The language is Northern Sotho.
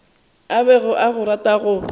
a bego a rata go